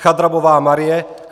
Chadrabová Marie